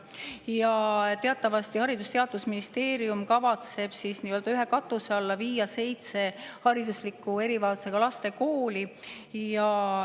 Teatavasti kavatseb Haridus- ja Teadusministeerium nii-öelda ühe katuse alla viia seitse haridusliku erivajadusega laste kooli.